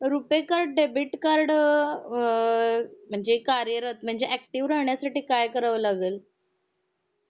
ऐक ना RuPay card debit card अ .... म्हणजे कार्यरत म्हणजे ऍक्टिव्ह राहण्या साठी काय करावं लागल